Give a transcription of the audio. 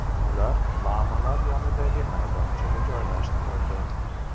Ular lamalar yonidagi maydonchaga joylashtirildi.